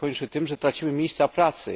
To się kończy tym, że tracimy miejsca pracy.